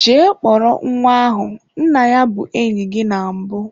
Jee kpọrọ nwa ahu, nna ya bu enyi gi na mbu!